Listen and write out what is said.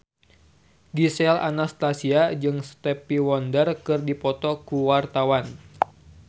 Gisel Anastasia jeung Stevie Wonder keur dipoto ku wartawan